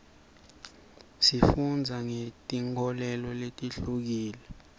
sifundza ngeti nkholelo letihlukile